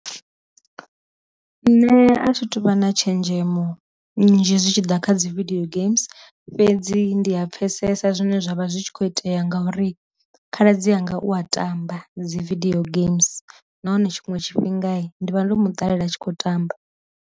Nṋe a thi tuvha na tshenzhemo nzhi zwi tshi ḓa kha dzi vidio games fhedzi ndi a pfesesa zwine zwavha zwi kho itea ngauri khaladzi anga u a tamba dzi video games, na hone tshiṅwe tshifhinga ndi vha ndo mu ṱalela a tshi khou tamba.